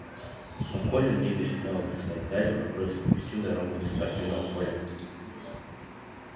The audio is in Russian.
но колин не переставал засыпать гарри вопросами всю дорогу до спортивного поля